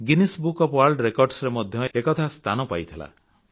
Guinness book of world ରେକର୍ଡସରେ ମଧ୍ୟ ଏକଥା ସ୍ଥାନ ପାଇଥିଲା